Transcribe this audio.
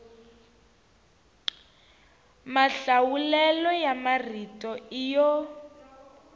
mahlawulelo ya marito i yo